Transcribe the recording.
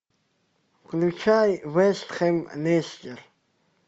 включай вест хэм лестер